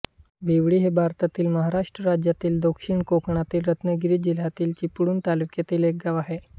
बिवळी हे भारतातील महाराष्ट्र राज्यातील दक्षिण कोकणातील रत्नागिरी जिल्ह्यातील चिपळूण तालुक्यातील एक गाव आहे